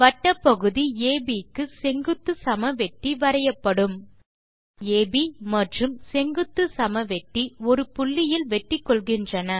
வட்டப் பகுதி அப் க்கு செங்குத்து சமவெட்டி வரையப்படும் வட்டப் பகுதி அப் மற்றும் செங்குத்துச் சமவெட்டி ஒரு புள்ளியில் வெட்டிகொள்கின்றன